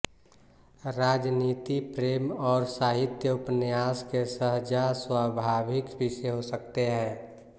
राजनीति प्रेम और साहित्य उपन्यास के सहजस्वाभाविक विषय हो सकते हैं